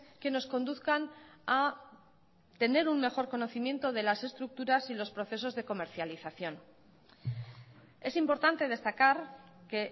que nos conduzcan a tener un mejor conocimiento de las estructuras y los procesos de comercialización es importante destacar que